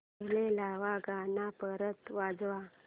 पहिलं वालं गाणं परत वाजव